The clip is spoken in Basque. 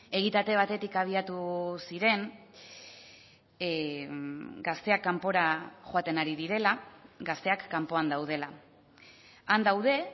egitate batetik abiatu ziren gazteak kanpora joaten ari direla gazteak kanpoan daudela han daude